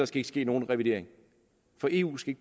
skal ske nogen revidering for eu skal